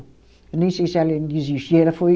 Eu nem sei se ela ainda existe. E ela foi